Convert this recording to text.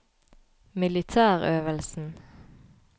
militærøvelsen